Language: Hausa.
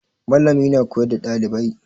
Malami na koyar da ɗalibai